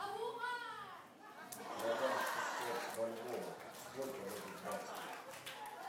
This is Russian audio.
продам шестьсот бальбоа сколько дадут баксов